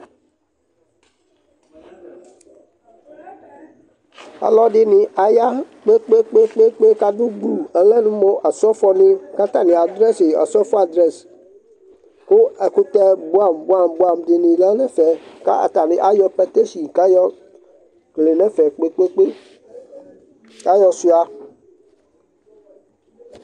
Alɔdɩnɩ aya kpe-kpe-kpe kʋ adʋ gblu, ɔlɛ mʋ ɔsɔfɔnɩ kʋ atanɩ adrɛsɩ ɔsɔfɔ adrɛs kʋ ɛkʋtɛ bʋɛamʋ bʋɛamʋ dɩnɩ lɛ nʋ ɛfɛ kʋ atanɩ ayɔ patasin kʋ ayɔ kele nʋ ɛfɛ kpe-kpe-kpe kʋ ayɔsʋɩa